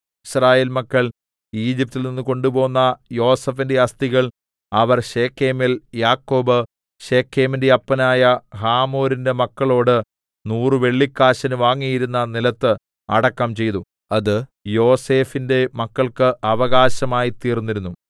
യിസ്രായേൽ മക്കൾ ഈജിപ്റ്റിൽ നിന്ന് കൊണ്ടുപോന്ന യോസേഫിന്റെ അസ്ഥികൾ അവർ ശെഖേമിൽ യാക്കോബ് ശെഖേമിന്റെ അപ്പനായ ഹമോരിന്റെ മക്കളോട് നൂറ് വെള്ളിക്കാശിന് വാങ്ങിയിരുന്ന നിലത്ത് അടക്കം ചെയ്തു അത് യോസേഫിന്റെ മക്കൾക്ക് അവകാശമായിത്തീർന്നിരുന്നു